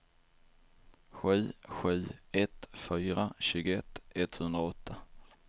sju sju ett fyra tjugoett etthundraåtta